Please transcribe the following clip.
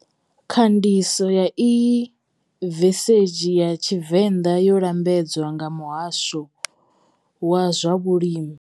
Khandiso ya iyi vesezhi ya Tshivenda yo lambedzwa nga muhasho wa swa vhulimi.